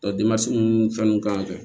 fɛn nun k'an fɛ